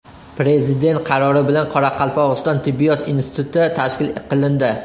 Prezident qarori bilan Qoraqalpog‘iston tibbiyot instituti tashkil qilindi.